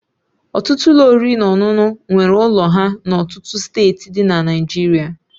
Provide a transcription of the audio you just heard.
Ọtụtụ Ụlọ oriri na ọṅụṅụ nwere ụlọ ha na ọtụtụ steeti dị na Naijiria